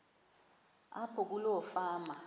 apho kuloo fama